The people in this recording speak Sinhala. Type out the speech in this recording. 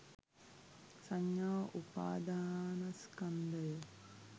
සංඥා උපාදානස්කන්ධය